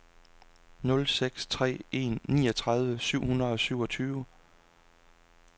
nul seks tre en niogtredive syv hundrede og syvogtyve